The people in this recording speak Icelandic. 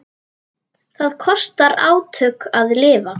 Það kostar átök að lifa.